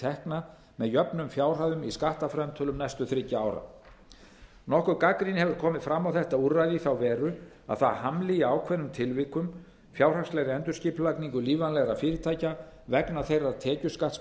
tekna með jöfnum fjárhæðum í skattframtölum næstu þriggja ára nokkur gagnrýni hefur komið fram á þetta úrræði í þá veru að það hamli í ákveðnum tilvikum fjárhagslegri endurskipulagningu lífvænlegra fyrirtækja vegna þeirrar